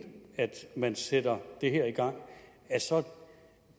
man sætter det her i gang